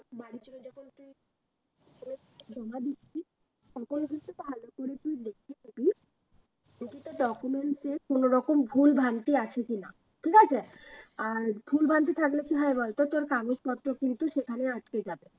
জমা দিবি তখন কিন্তু ভালো করে তুই দেখে দিবি কোনো রকম ভুল ভ্রান্তি আছে কিনা ঠিক আছে? আর ভুল ভ্রান্তি থাকলে কি হয় বলতো তোর কাগজপত্র কিন্তু সেখানে আটকে যাবে